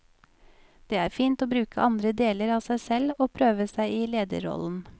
Det er fint å bruke andre deler av seg selv og prøve seg i lederrollen.